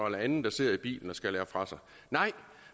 en anden der sidder i bilen og skal lære fra sig nej